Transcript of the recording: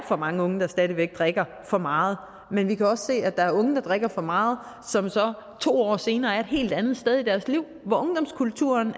for mange unge der stadig væk drikker for meget men vi kan også se at der er unge der drikker for meget og som så to år senere er et helt andet sted i deres liv hvor ungdomskulturen